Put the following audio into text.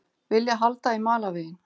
Vilja halda í malarveginn